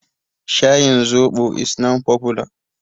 Shayin zoɓo is now popular.